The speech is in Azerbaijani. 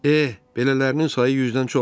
Eh, belələrinin sayı 100-dən çoxdur.